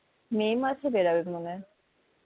মে মাসে বেরোবে মনে হয়